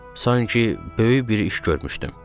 Sanki böyük bir iş görmüşdüm.